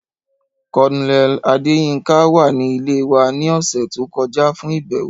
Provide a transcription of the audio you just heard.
Colonel Adeyinka wa ni ile wa ni ọsẹ to kọja fun ibẹwo.